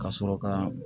Ka sɔrɔ ka